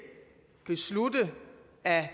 beslutte at